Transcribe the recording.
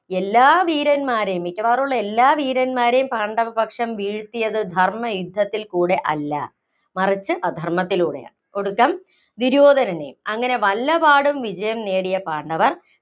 എല്ലാ വീരന്മാരെയും, മിക്കവാറും ഉള്ള എല്ലാ വീരന്മാരെയും പാണ്ഡവപക്ഷം വീഴ്ത്തിയത് ധര്‍മയുദ്ധത്തില്‍ കൂടെയല്ല. മറിച്ച് അധര്‍മ്മത്തിലൂടെയാണ്, ഒടുക്കം ദുര്യോധനനെയും. അങ്ങനെ വല്ലപാടും വിജയം നേടിയ പാണ്ഡവര്‍